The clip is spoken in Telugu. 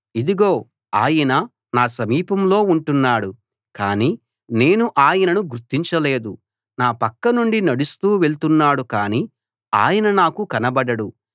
ఇదిగో ఆయన నా సమీపంలో ఉంటున్నాడు కానీ నేను ఆయనను గుర్తించలేదు నా పక్కనుండి నడుస్తూ వెళ్తున్నాడు కానీ ఆయన నాకు కనబడడు